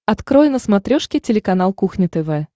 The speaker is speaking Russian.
открой на смотрешке телеканал кухня тв